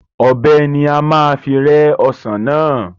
Ọbẹ̀ ni a fi máa rẹ́ Ọsàn náà